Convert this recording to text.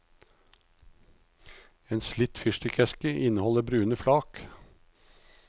En slitt fyrstikkeske inneholder brune flak.